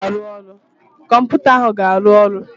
Kọmputa ahụ ga-arụ ọrụ